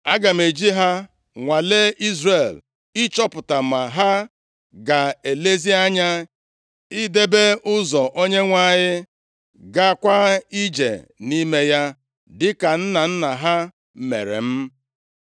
Aga m eji ha nwalee Izrel, ịchọpụta ma ha ga-elezi anya idebe ụzọ Onyenwe anyị, gaakwa ije nʼime ya dịka nna nna ha mere m.”